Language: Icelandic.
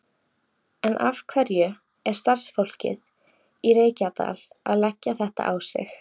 En af hverju er starfsfólkið í Reykjadal að leggja þetta á sig?